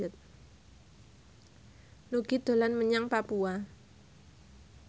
Nugie dolan menyang Papua